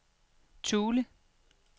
Thule